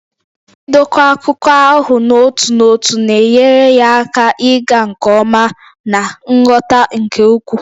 Idokwa akụkọ ahụ n'otu n'otu na-enyere ya aka ịga nke ọma na nghọta nke ukwuu.